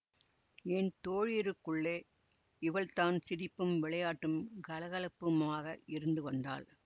என் தோழியருக்குள்ளே இவள்தான் சிரிப்பும் விளையாட்டும் கலகலப்புமாக இருந்து வந்தாள்